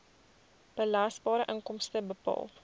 belasbare inkomste bepaal